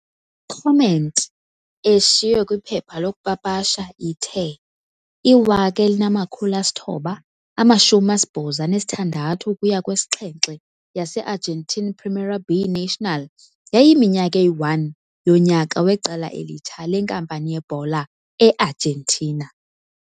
Comment eshiywe kwiphepha lokupapasha ithe i-1986 ukuya 7 yase-Argentine Primera B Nacional yayiyiminyaka eyi-1 yonyaka weqela elitsha lenkampani yebhola e-Argentina.